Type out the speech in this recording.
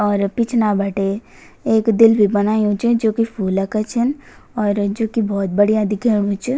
और पिछ्ना बटे एक दिल भी बनयु च जोकि फुल क छन और जुकि भौत बढ़िया दिख्येणु च।